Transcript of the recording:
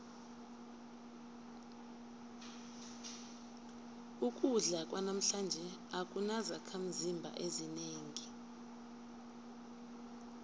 ukudla kwanamhlanje akunazakhimzimba ezinengi